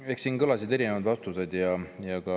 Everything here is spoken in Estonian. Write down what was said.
No eks siin kõlas erinevaid vastuseid.